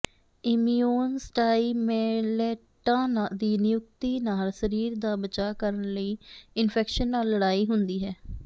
ਇਮਿਊਨੋਸਟਾਈਮੈਲੈਟਾਂ ਦੀ ਨਿਯੁਕਤੀ ਨਾਲ ਸਰੀਰ ਦਾ ਬਚਾਅ ਕਰਨ ਲਈ ਇਨਫੈਕਸ਼ਨ ਨਾਲ ਲੜਾਈ ਹੁੰਦੀ ਹੈ